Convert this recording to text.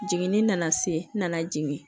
Jiginni nana se nana jigin